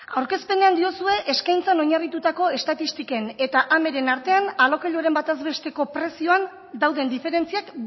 aurkezpenean diozue eskaintzan oinarritutako estatistiken eta ameren artean alokairuaren batez besteko prezioan dauden diferentziak